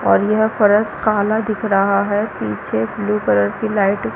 और यह फ़रस काला दिख रहा है पीछे ब्लू कलर की लाइट --